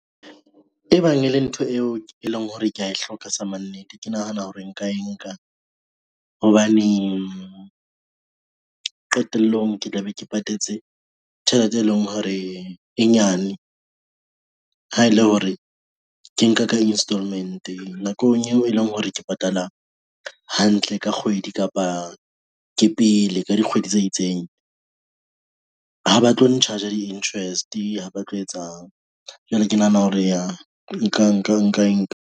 E bang e le ntho eo e leng hore kea e hloka sa mannete, ke nahana hore nka enka hobane, qetellong ke tla be ke patetse tjhelete e leng hore e nyane. Ha e le hore ke nka ka Installment nakong eo e leng hore ke patala hantle ka kgwedi kapa ke pele ka dikgwedi tse itseng. Ha ba tlo n-charge-a di-interest, ha ba tlo etsang jwale ke nahana hore yah nka enka.